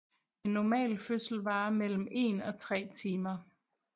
En normal fødsel varer mellem en og tre timer